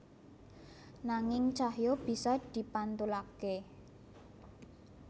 Nanging cahya bisa dipantulaké